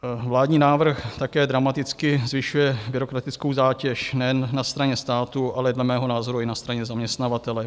Vládní návrh také dramaticky zvyšuje byrokratickou zátěž nejen na straně státu, ale dle mého názoru i na straně zaměstnavatele.